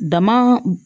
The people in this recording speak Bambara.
Dama